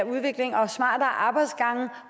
udvikling og smartere arbejdsgange